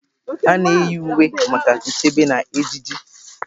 A na-eyi uwe maka nchebe na ejiji.